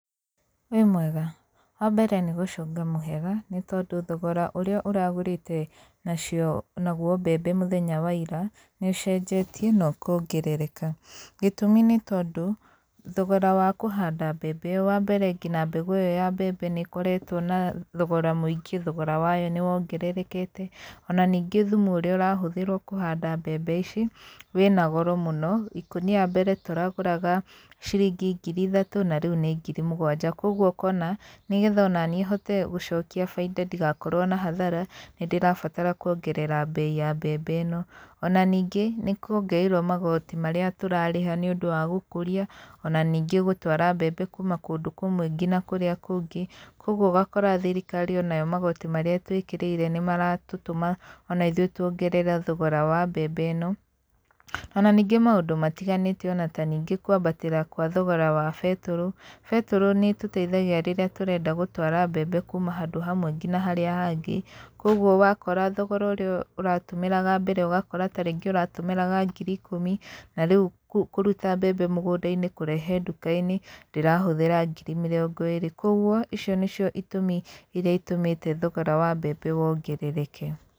Wĩmwega, wa mbere nĩgũcunga mũhera, nĩtondũ thogora ũrĩa ũragũrĩte nacio naguo mbembe mũthenya wa ira, nĩũcenjetie, na ũkongerereka. Gĩtumi nĩtondũ, thogora wa kũhanda mbembe wambere nginya mbegũ ĩyo ya mbembe nĩkoretwo na thogora mũingĩ, thogora wayo nĩwongererekete, ona ningĩ thumu ũrĩa ũrahũthĩrwo kũhanda mbembe ici wĩna goro mũno, ikũnia mbere tũragũraga ciringi ngiri ithatũ, na riũ nĩ ngiri mũgwanja, koguo ũkona nĩgetha ona nĩi hote gũcokia bainda ndigakorwo na hathara, nĩndĩrabatara kuongerera mbei ya mbembe ĩno, ona ningĩ nĩkuongereirwo magoti marĩa tũrarĩha nĩũndũ wa gũkũria, ona ningĩ gũtwara mbembe kuma kũndũ kũmwe nginya kũrĩa kũngĩ, koguo ũgakora thirikari onayo magoti marĩa itũĩkĩrĩire nĩmaratũtũma ona ithuĩ tũongerere thogora wa mbembe ĩno, ona ningĩ maũndũ matiganĩte ona ta ningĩ kuambatĩra kwa thogora wa betũrũ, betũrũ nĩ ĩtũteithagia rĩrĩa tũrenda gũtwara mbembe kuma handũ hamwe nginya harĩa hangĩ, koguo wakora thogora ũrĩa ũratũmĩraga mbere ũgakora tarĩngĩ ũratũmĩraga ngiri ikũmi, na rĩũ kũruta mbembe mũgũndainĩ kũrehe ndũkainĩ ndĩrahũthĩra ngiri mĩrongo ĩrĩ. Koguo icio nĩcio itũmi iria itũmĩte thogora wa mbembe wongerereke.